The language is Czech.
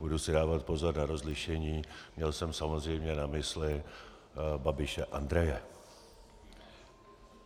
Budu si dávat pozor na rozlišení, měl jsem samozřejmě na mysli Babiše Andreje.